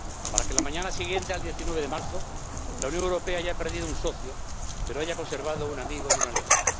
Para que la mañana siguiente al 19 de marzo, la Unión Europea haya perdido un socio, pero haya conservado un amigo y un aliado.